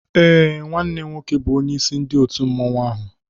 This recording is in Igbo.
Eé, nwanne m nwoke bu onyeisi ndị òtù mmanwu áhù